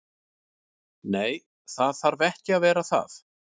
Nei, það þarf ekki að vera það.